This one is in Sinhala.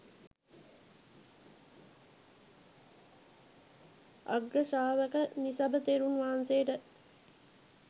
අග්‍රශ්‍රාවක නිසභ තෙරුන් වහන්සේට